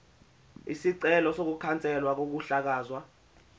isicelo sokukhanselwa kokuhlakazwa